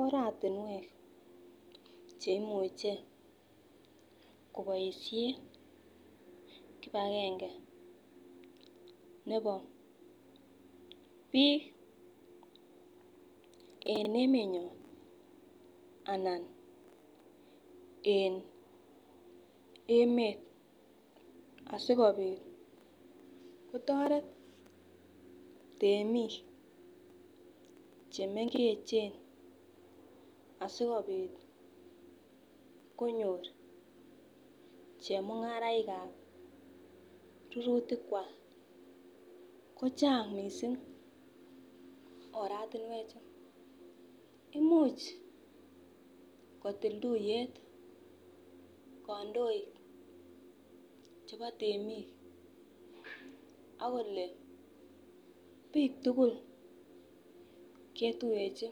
Oratunwek cheimuche koboishen kipagenge nebo bik en emenyon ana en emet asikopit kotoret temik chemengechen asikopit konyor chemungarainikab rurutik kwak kochang missing oratunwek choton. Imuch kotil tuyet kondoik chebo temik ak kole bik tukul ketuyechi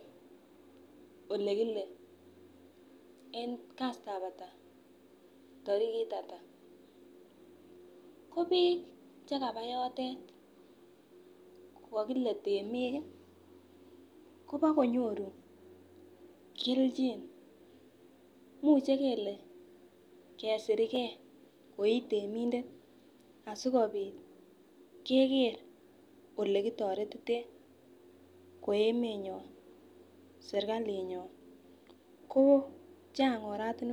ole kile en kastab hatak, torikit hatak ko bik chekaba yotet ko kokile temik kii kobokonyoru keljin imuche kele kesirgee ko itemindet sikorun kegeer ole kitoretiten ko emenyon sirkalinyon ko Chang oratunwek.